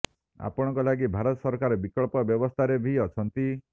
ଆପଣଙ୍କ ଲାଗି ଭାରତ ସରକାର ବିକଳ୍ପ ବ୍ୟବସ୍ଥାରେ ବି ଅଛନ୍ତି